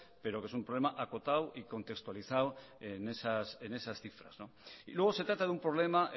pero que es un problema acotado y contextualizado en esas cifras y luego se trata de un problema